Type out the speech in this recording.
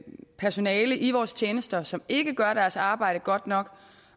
personale i vores tjenester som ikke gør deres arbejde godt nok